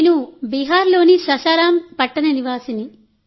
నేను బీహార్లోని సాసారాం పట్టణ నివాసిని